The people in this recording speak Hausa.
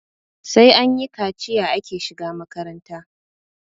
sai anyi kaciya ake shiga makaranta